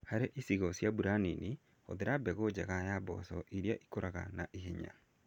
Harĩ icigo cia mbura nini, hũthira mbegu njega cia mboco irĩa ikũraga na ihenya.